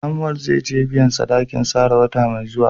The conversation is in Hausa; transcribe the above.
Samuel zai je biyan sadakin Sarah wata mai zuwa.